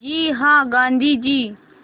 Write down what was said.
जी हाँ गाँधी जी